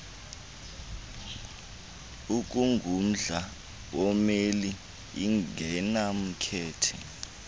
okungumdla wommeli ingenamkhethe